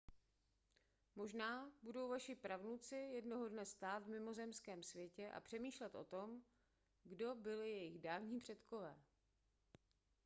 možná budou vaši pravnuci jednoho dne stát v mimozemském světě a přemýšlet o tom kdo byli jejich dávní předkové